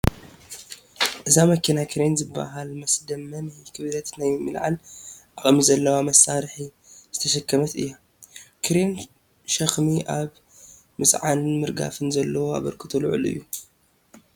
እዛ መኪና ክሬን ዝበሃል መስደመሚ ክብደት ናይ ምልዓለ ዓቕሚ ዘለዎ መሳርሒ ዝተሸከመት እያ፡፡ ክሪን ሸኽሚ ኣብ ምፅዓንን ምርጋፍን ዘለዎ ኣበርክቶ ልዑል እዩ፡፡